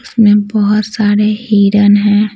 इसमें बहुत सारे हिरण हैं।